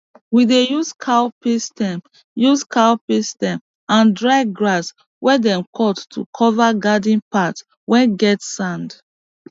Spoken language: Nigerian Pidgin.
we dey use cowpea stem use cowpea stem and dry grass whey them cut to cover garden path whey get sand